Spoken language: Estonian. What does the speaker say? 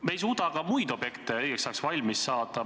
Me ei suuda ka muid objekte õigeks ajaks valmis saada.